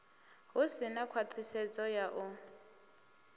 hu si na khwaṱhisedzo ya